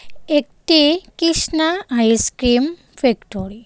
একটি Krishna ice cream factory.